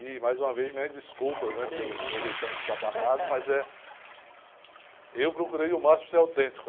E, mais uma vez, minhas desculpas, né? que é isso. elo meu jeitão de estabanado, mas é... Eu procurei ao máximo para ser autêntico.